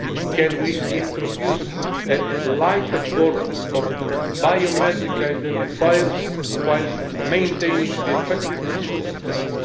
Can we introduce a lighter' form of biometric identifiers while maintaining the effectiveness of the system?